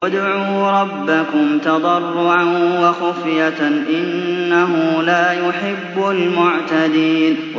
ادْعُوا رَبَّكُمْ تَضَرُّعًا وَخُفْيَةً ۚ إِنَّهُ لَا يُحِبُّ الْمُعْتَدِينَ